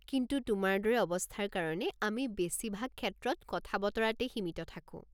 কিন্তু তোমাৰ দৰে অৱস্থাৰ কাৰণে আমি বেছিভাগ ক্ষেত্ৰত কথা-বতৰাতেই সীমিত থাকো।